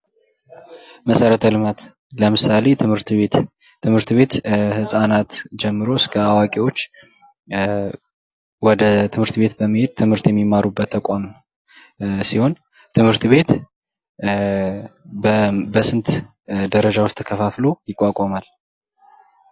መሰረተ ልማት ለምሳሌ ትምህርት ቤት፦ ትምህርት ቤት ህጻናት ጀምሮ እስከ አዋቂዎች ወደ ትምህርት ቤት በመሄድ ትምህርት የሚማሩበት ተቋም ሲሆን ትህምርት ቤት በስንት ደረጃዎች ተከፋፍሎ ይቋቋማል?